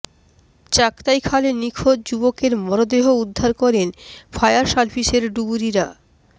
চাক্তাই খালে নিখোঁজ যুবকের মরদেহ উদ্ধার করেন ফায়ার সার্ভিসের ডুবুরিরা